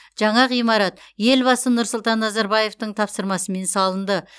жаңа ғимарат елбасы нұрсұлтан назарбаевтың тапсырмасымен салынды